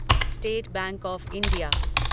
state Bank of India